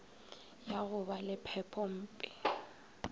ya go ba le phepompe